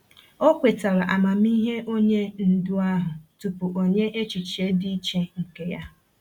O kwetara amamihe onye ndu ahụ tupu o nye echiche dị iche nke ya.